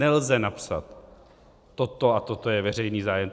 Nelze napsat toto a toto je veřejný zájem.